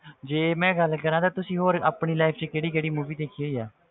ਜੇ ਮੈਂ ਗੱਲ ਕਰਾਂ ਤਾਂ ਤੁਸੀਂ ਹੋਰ ਆਪਣੀ life 'ਚ ਕਿਹੜੀ ਕਿਹੜੀ movie ਦੇਖੀ ਹੋਈ ਆ,